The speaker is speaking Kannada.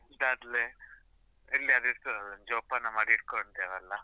Bracelet ಆದ್ಲೆ, ಎಲ್ಲಿ ಆದ್ರು ಇರ್ತದಲ್ಲ, ಜೋಪಾನ ಮಾಡಿ ಇಟ್ಕೊಂತೆವಲ್ಲ.